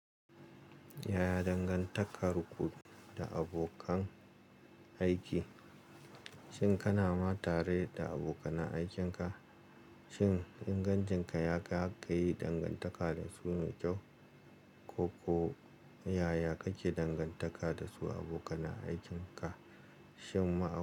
Yaya dangantakar ku da abokan aiki, shin kana ma tare da abokanan aikin ka? Shin ingancin ka ya kai har kayi dangantaka da su mai kyau, ko, ko yaya kake dangantaka da su abokanan aikin ka? Shin ma'a.